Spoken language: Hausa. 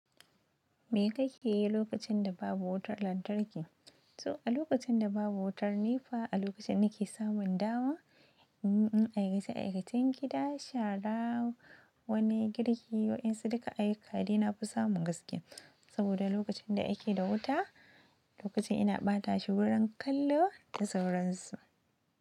Me kake yi lokacin da babu wutar lantarki? To, a lokacin da babu wutar nepa, a lokacin nake samun dama, inyi aykace-aikacen gidan, shara, wani girki, waɗansu duka ayyuka da na fi samun gaskiya. Saboda lokacin da ake da wuta, lokacin ina ɓata shi wurin kallo da sauransu.